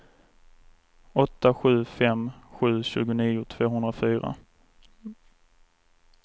åtta sju fem sju tjugonio tvåhundrafyra